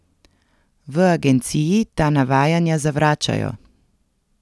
V agenciji ta navajanja zavračajo.